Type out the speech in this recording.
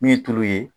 Min ye tulu ye